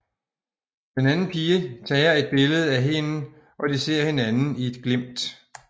Den anden pige tager et billede af hende og de ser hinanden i et glimt